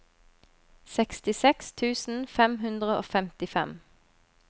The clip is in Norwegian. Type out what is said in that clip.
sekstiseks tusen fem hundre og femtifem